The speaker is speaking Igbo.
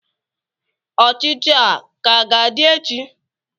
Ochichi a ka ga-adị echi?